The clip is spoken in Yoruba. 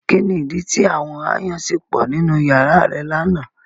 Kini idi ti àwọn aayan ṣe pọ ninu yara rẹ lana?